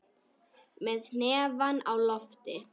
Með hnefann á lofti.